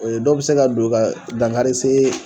dɔw bi se ka don ka dankari see